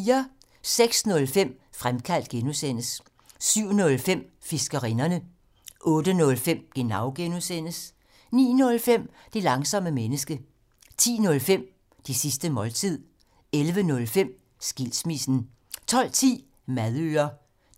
06:05: Fremkaldt (G) 07:05: Fiskerinderne 08:05: Genau (G) 09:05: Det langsomme menneske 10:05: Det sidste måltid 11:05: Skilsmissen 12:10: Madøre